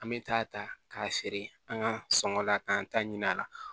An bɛ taa ta k'a feere an ka sɔngɔ la k'an ta ɲini a la